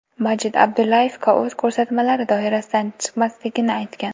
Majid Abdullayevga o‘z ko‘rsatmalari doirasidan chiqmasligini aytgan.